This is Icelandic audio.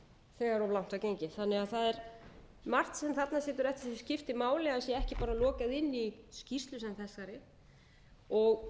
þegar of langt var gengið þannig að það er margt sem þarna situr eftir sem skiptir máli að ekki sé lokað inn í skýrslu sem þessari